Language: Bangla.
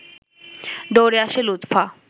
দৌড়ে আসে লুৎফা